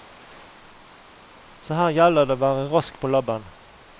Så her gjelder det å være rask på labben.